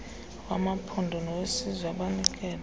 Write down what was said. wamaphondo nowesizwe abanikelo